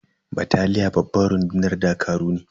Bataliya babban rundunar dakaru ne.